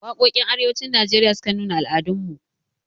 Waƙoƙin arewacin najeriya sukan nuna al'adun mu